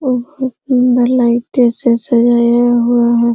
बहोत सुन्दर लाइटों से सजाया हुआ है।